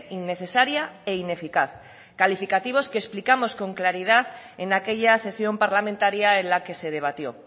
innecesaria e ineficaz calificativos que explicamos con claridad en aquella sesión parlamentaria en la que se debatió